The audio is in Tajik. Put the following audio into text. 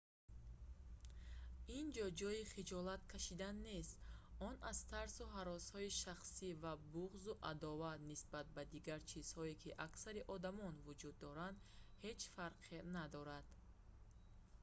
ин ҷо ҷойи хиҷолат кашидан нест он аз тарсу ҳаросҳои шахсӣ ва буғзу адоват нисбат ба дигар чизҳо ки аксари одамон вуҷуд доранд ҳеҷ фарқе надорад